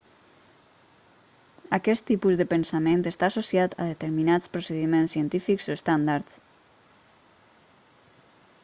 aquest tipus de pensament està associat a determinats procediments científics o estàndards